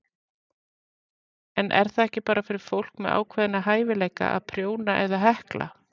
En er það ekki bara fyrir fólk með ákveðna hæfileika að prjóna eða hekla?